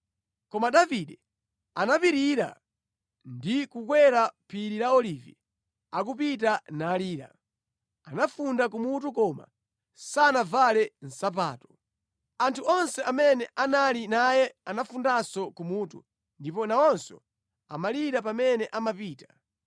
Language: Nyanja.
Koma Davide anapitirira ndi kukakwera phiri la Olivi akupita nalira. Anafunda kumutu koma sanavale nsapato. Anthu onse amene anali naye anafundanso kumutu, ndipo nawonso amalira pamene amapita.